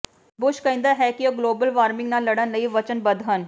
Bush ਕਹਿੰਦਾ ਹੈ ਕਿ ਉਹ ਗਲੋਬਲ ਵਾਰਮਿੰਗ ਨਾਲ ਲੜਨ ਲਈ ਵਚਨਬੱਧ ਹਨ